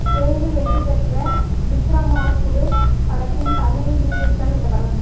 தெலுங்கில் வெற்றி பெற்ற விக்ரமார்குடு படத்தின் தமிழ் ரீமேக்தான் இந்தப் படம்